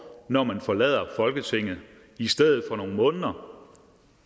når man forlader folketinget i stedet for nogle måneder